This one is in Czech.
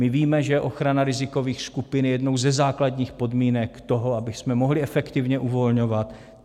My víme, že ochrana rizikových skupin je jednou ze základních podmínek toho, abychom mohli efektivně uvolňovat.